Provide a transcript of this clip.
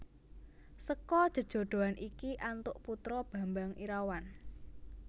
Seka jejodhoan iki antuk putra Bambang Irawan